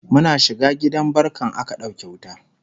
Muna shiga gidan barkan aka ɗauke wuta